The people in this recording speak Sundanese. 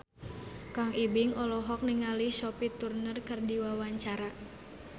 Kang Ibing olohok ningali Sophie Turner keur diwawancara